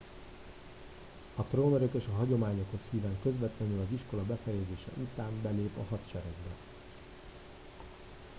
a trónörökös a hagyományokhoz híven közvetlenül az iskola befejezése után belép a hadseregbe